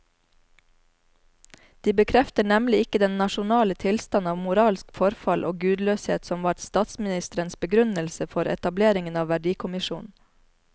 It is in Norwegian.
De bekrefter nemlig ikke den nasjonale tilstand av moralsk forfall og gudløshet som var statsministerens begrunnelse for etableringen av verdikommisjonen.